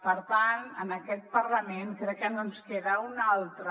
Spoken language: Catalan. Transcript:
per tant en aquest parlament crec que no ens queda una altra